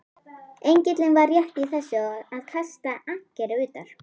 Engillinn var rétt í þessu að kasta ankeri utar.